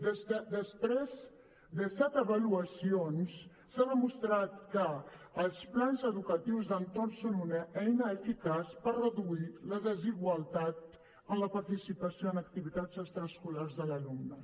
després de set avaluacions s’ha demostrat que els plans educatius d’entorn són una eina eficaç per reduir la desigualtat en la participació en activitats extraescolars de l’alumnat